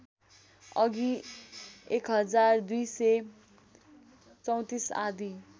अघि १२३४ आदि